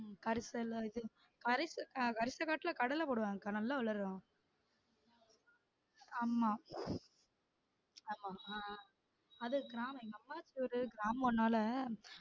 உம் கரிசல் இது கரிச~ கரிசக்காட்டுல கடலை போடுவாங்க அக்கா நல்லா வளரும் ஆமா ஆமா ஆஹ் அது கிராமம் எங்க அப்பாச்சி ஊரு கிராமம் நாள